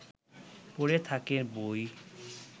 পড়ে থাকে বই